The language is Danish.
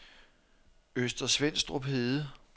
Øster Svenstrup Hede